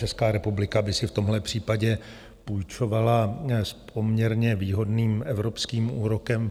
Česká republika by si v tomhle případě půjčovala s poměrně výhodným evropským úrokem.